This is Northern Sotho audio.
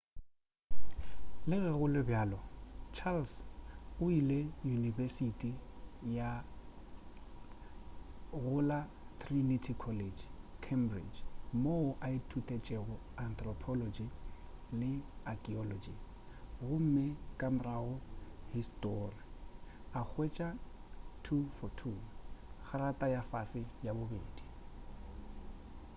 le ge go le bjalo charles o ile unibesiti go la trinity college cambridge moo a ithutetšego anthropology le archaeology gomme ka morago histori a hwetša 2:2 kgrata ya fase ya bobedi